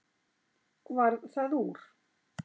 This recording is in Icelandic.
Varð það úr.